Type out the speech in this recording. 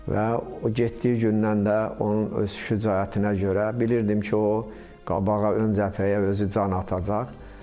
Və o getdiyi gündən də onun öz şücaətinə görə bilirdim ki, o qabağa, ön cəbhəyə özü can atacaq.